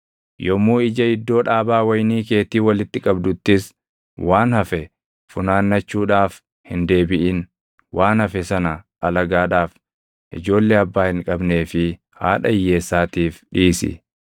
Yommuu ija iddoo dhaabaa wayinii keetii walitti qabduttis waan hafe funaannachuudhaaf hin deebiʼin. Waan hafe sana alagaadhaaf, ijoollee abbaa hin qabnee fi haadha hiyyeessaatiif dhiisi.